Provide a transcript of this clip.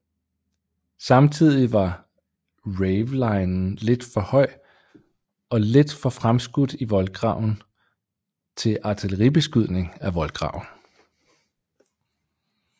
Samtidigt var ravelinen lidt for høj og lidt for fremskudt i voldgraven til artilleribeskydning af voldgraven